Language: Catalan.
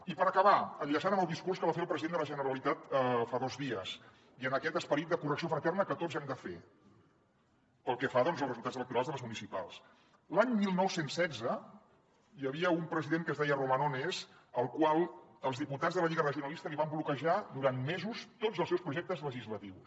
i per acabar enllaçant amb el discurs que va fer el president de la generalitat fa dos dies i amb aquest esperit de correcció fraterna que tots hem de fer pel que fa doncs als resultats electorals de les municipals l’any dinou deu sis hi havia un president que es deia romanones al qual els diputats de la lliga regionalista li van bloquejar durant mesos tots els seus projectes legislatius